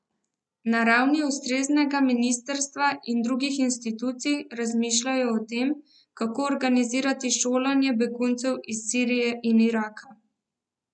Na ravni ustreznega ministrstva in drugih institucij razmišljajo o tem, kako organizirati šolanje beguncev iz Sirije in Iraka.